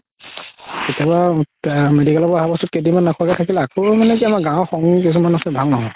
এতিয়া বা medical ৰ পৰা আহাৰ পাছত কেইদিনমান নাখোৱাকে থাকিলে তাৰ পাছত আকৌ মানে কি গাওৰ কিছুমান আছে ভাল নহয়